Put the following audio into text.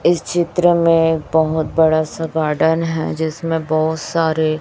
इस चित्र में बहुत बड़ा सा गार्डन है जिसमें बहुत सारे--